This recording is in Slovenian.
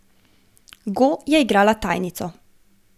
Go je igrala tajnico.